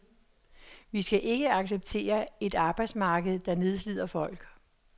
Vi skal ikke acceptere et arbejdsmarked, der nedslider folk.